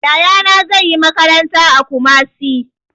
Yaya na zai yi makaranta a Kumasi